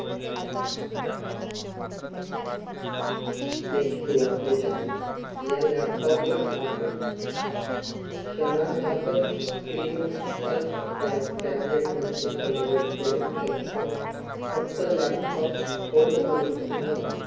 देखील ओळखले जाते. या laptop ला आपण क्षणार्धातच screen touch tablet मध्ये convert करू शकतो. फक्त laptop fold करून किंवा